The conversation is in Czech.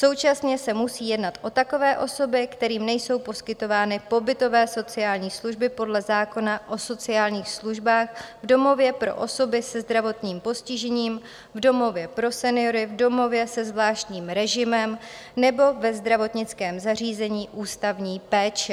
Současně se musí jednat o takové osoby, kterým nejsou poskytovány pobytové sociální služby podle zákona o sociálních službách v domově pro osoby se zdravotním postižením, v domově pro seniory, v domově se zvláštním režimem nebo ve zdravotnickém zařízení ústavní péče.